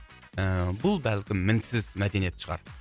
ыыы бұл бәлкім мінсіз мәдениет шығар